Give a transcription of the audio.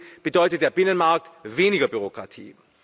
Deswegen bedeutet der Binnenmarkt weniger Bürokratie.